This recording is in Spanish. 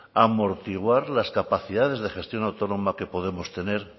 amortiguar las capacidades de gestión autónoma que podemos tener